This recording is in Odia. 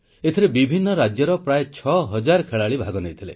ଏଥିରେ ବିଭିନ୍ନ ରାଜ୍ୟର ପ୍ରାୟ 6000 ଖେଳାଳି ଭାଗ ନେଇଥିଲେ